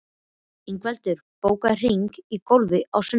Ingveldur, bókaðu hring í golf á sunnudaginn.